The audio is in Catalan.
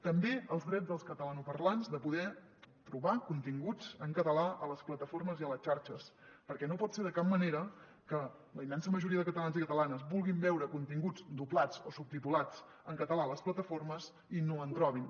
també els drets dels catalanoparlants de poder trobar continguts en català a les plataformes i a les xarxes perquè no pot ser de cap manera que la immensa majoria de catalans i catalanes vulguin veure continguts doblats o subtitulats en català a les plataformes i no en trobin